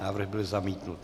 Návrh byl zamítnut.